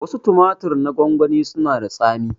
Wasu tumatir na gwangwani suna da tsami